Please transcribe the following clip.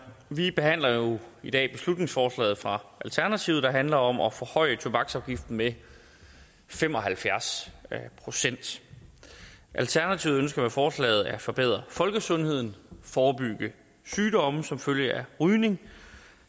vi behandler jo i dag beslutningsforslaget fra alternativet der handler om at forhøje tobaksafgiften med fem og halvfjerds procent alternativet ønsker med forslaget at forbedre folkesundheden forebygge sygdomme som følge af rygning